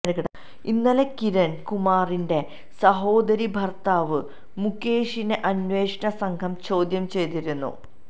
ഇന്നലെ കിരണ് കുമാറിന്റെ സഹോദരീ ഭര്ത്താവ് മുകേഷിനെ അന്വേഷണ സംഘം ചോദ്യം ചെയ്തിരുന്നു